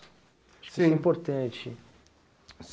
sim. Acho que isso é importante.